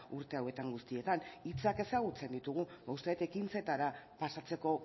urte hauetan guztietan hitzak ezagutzen ditugu uste dut ekintzetara pasatzeko